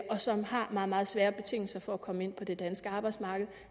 og som har meget meget svære betingelser for at komme ind på det danske arbejdsmarked